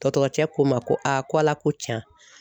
Dɔgɔtɔrɔcɛ ko N ma ko ko Ala ko tiɲan